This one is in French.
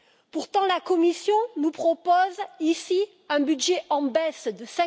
Pourtant, la Commission nous propose ici un budget en baisse de